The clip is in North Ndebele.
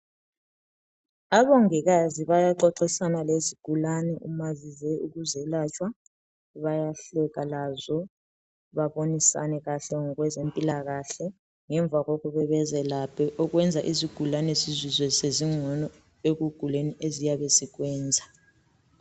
Omongikazi bayaxoxisana lezigulane mazizo kwelatshwa bayahleka lazo babonisane kahle ngokwezempilakahle ngemva kokuthi bezelaphe okwenza ukuthi izigulane zizizwe sezingcono ekuguleni eziyabe zikuzwa.